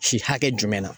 Si hakɛ jumɛn na